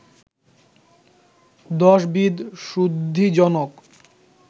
দশবিধ শুদ্ধিজনক